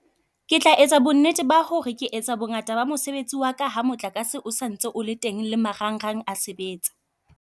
Ke tla etsa bonnete ba ho re ke etsa bongata ba mosebetsi wa ka, ha motlakase o santse o le teng le marang rang a sebetsa.